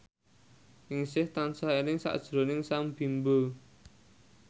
Ningsih tansah eling sakjroning Sam Bimbo